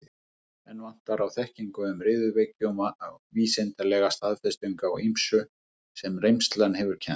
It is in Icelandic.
Enn vantar á þekkingu um riðuveiki og vísindalega staðfestingu á ýmsu, sem reynslan hefur kennt.